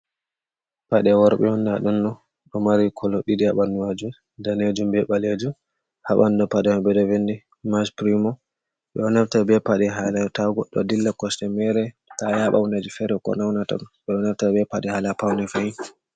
Paɗe worbe'on nda ɗumno, ɗo Mari kolo ɗiɗi ha ɓandu majum. Danejum be ɓaleju, ha Ɓandu Paɗeman ɓe vindi mas girumo. Ɓe ɗo naftira be Paɗe hala ta godɗo dilla kosɗe mere, ta yaɓa hundeji fere ko Naunata ɗum. nonnonta ɓeɗo naftira be Paɗe hala Pune fahin.